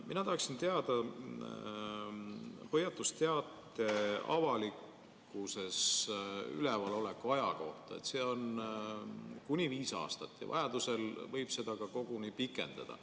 Mina tahaksin küsida hoiatusteate avalikkuses ülevaloleku aja kohta – see on kuni viis aastat ja vajaduse korral võib seda koguni pikendada.